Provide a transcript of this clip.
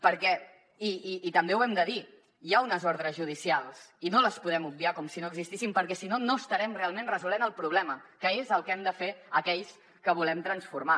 perquè i també ho hem de dir hi ha unes ordres judicials i no les podem obviar com si no existissin perquè si no no estarem realment resolent el problema que és el que hem de fer aquells que volem transformar